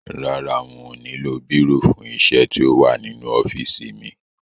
Rárá, n ò nílò bírò fún isẹ́ tí ó wà nínú ọ́fìsì mi